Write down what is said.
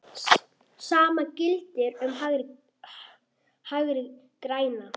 Sama gilti um Hægri græna.